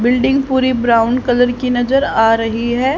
Building पूरी brown colour की नजर आ रही है।